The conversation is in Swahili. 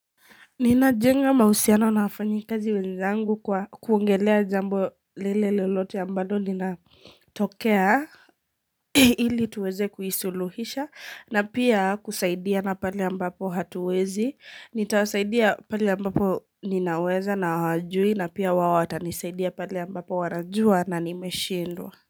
Ninajenga mahusiano na wafanyikazi wenzangu kwa kuongelea jambo lile lolote ambalo linatokea iiiiiiiiii ili tuweze kuisuluhisha na pia kusaidiana pale ambapo hatuwezi, nitawasaidia pale ambapo ninaweza na hawajui na pia wao watanisaidia pale ambapo wanajua na nimeshindwa.